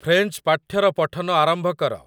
French ପାଠ୍ୟର ପଠନ ଆରମ୍ଭ କର